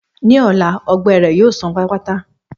Ní ọ̀la, ọgbẹ́ rẹ̀ yóò sàn pátápátá.